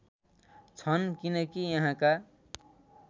छन् किनकि यहाँका